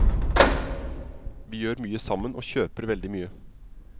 Vi gjør mye sammen og kjøper veldig mye.